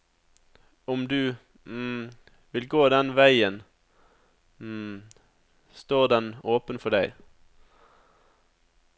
Om du vil gå den veien, står den åpen for deg.